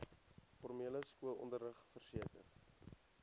formele skoolonderrig verseker